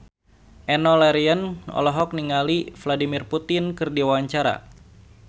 Enno Lerian olohok ningali Vladimir Putin keur diwawancara